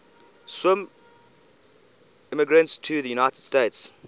swiss immigrants to the united states